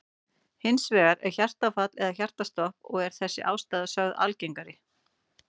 Hins vegar er hjartaáfall eða hjartastopp og er þessi ástæða sögð algengari.